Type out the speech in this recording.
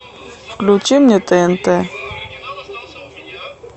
включи мне тнт